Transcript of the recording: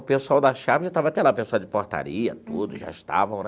O pessoal da Sharp já estava até lá, o pessoal de portaria, tudo, já estavam né.